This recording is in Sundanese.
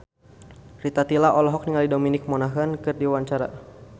Rita Tila olohok ningali Dominic Monaghan keur diwawancara